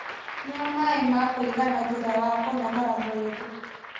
Nyua maaĩ ma kũigana thutha wa kũnogora mwĩrĩ